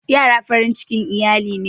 Ƴara farin cikin iyali ne.